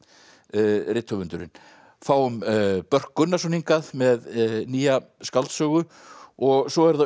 rithöfundurinn fáum Börk Gunnarsson hingað með nýja skáldsögu og svo eru það